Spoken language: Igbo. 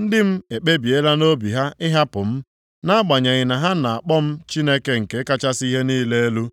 Ndị m ekpebiela nʼobi ha ịhapụ m. Nʼagbanyeghị na ha na-akpọ m Chineke nke kachasị ihe niile elu,